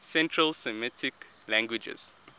central semitic languages